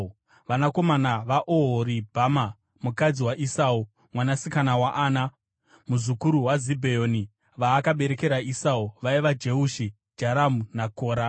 Vanakomana vaOhoribhama, mukadzi waEsau, mwanasikana waAna, muzukuru waZibheoni, vaakaberekera Esau, vaiva: Jeushi, Jaramu naKora.